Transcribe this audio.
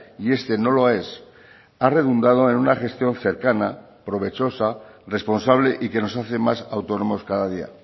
y este no lo es ha redundado en una gestión cercana provechosa responsable y que nos hace más autónomos cada día